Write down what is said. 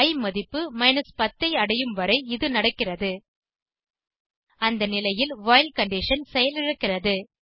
இ மதிப்பு 10 ஐ அடையும் வரை இது நடக்கிறது அந்த நிலையில் வைல் கண்டிஷன் செயலிழக்கிறது